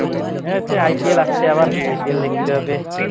হ্যাঁ সেই IPL আসছে আবার লিখতে হবে IPL